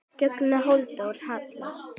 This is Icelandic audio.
Ragnar Halldór Hall.